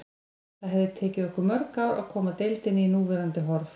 Það hefði tekið okkur mörg ár að koma deildinni í núverandi horf.